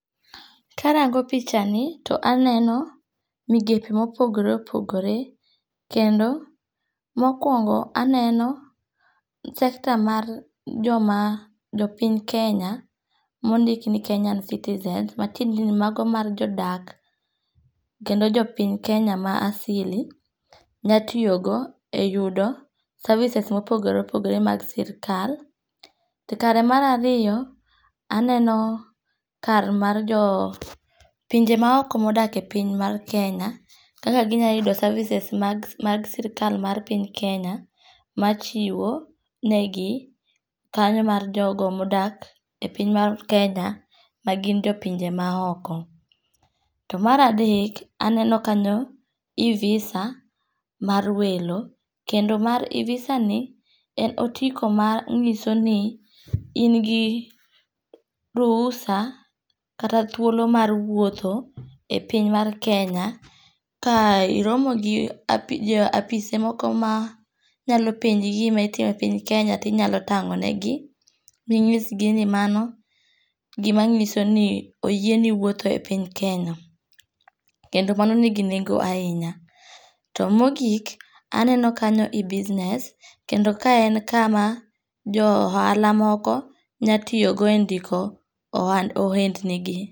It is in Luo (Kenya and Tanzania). Karango pichani to aneno migepe mopogore opogore kendo mokuoongo aneno sector ma joma jo piny Kenya mondik ni Kenya citizen matiende ni mago mag jo dak kendo jo piny Kenya ma asili nya tiyogo e yudo services ma opogore opogore mag sirikal. To kare marariyo aneno kare ma jo pinje maoko ma odake piny mar Kenya, kaka ginyalo yude services mag sirikal mar piny Kenya machiwo negi kanyo mar jogo modak piny mar Kenya ma gin jo pinje maoko. To mar adek aneno kanyo e-visa mar welo, kendo mar e- visani en otiko mar manyiso in gi ruhusa kata thuolo mar wuotho e piny mar Kenya, ka iromo gi apise moko ma nyalom penji gima itimo e piny Kenya to inyalo tango'negi, minyisgi ni mano gimanyisoni oyieni wuotho e piny Kenya, kendo mano nigi nengo ahinya. To mogik aneno kanyo e-business kendo ka en kama jo ohala moko nyalo tiyogo e ndiko ohendni gi.